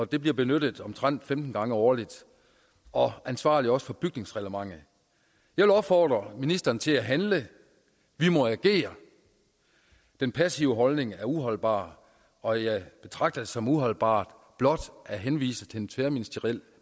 det bliver benyttet omtrent femten gange årligt og ansvarlig også for bygningsreglementet jeg vil opfordre ministeren til at handle vi må agere den passive holdning er uholdbar og jeg betragter det som uholdbart blot at henvise til en tværministeriel